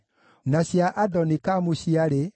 na andũ a Netofa maarĩ 56,